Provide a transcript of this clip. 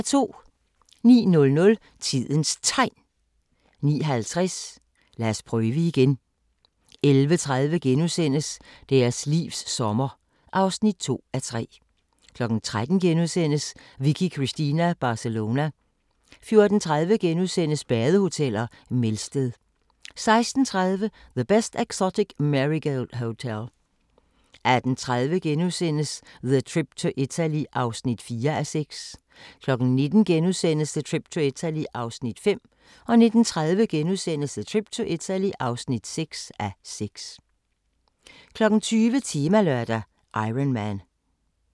09:00: Tidens Tegn 09:50: Lad os prøve igen 11:30: Deres livs sommer (2:3)* 13:00: Vicky Cristina Barcelona * 14:30: Badehoteller - Melsted * 16:30: The Best Exotic Marigold Hotel 18:30: The Trip to Italy (4:6)* 19:00: The Trip to Italy (5:6)* 19:30: The Trip to Italy (6:6)* 20:00: Temalørdag: Ironman